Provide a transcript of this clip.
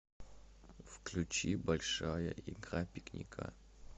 включи большая игра пикника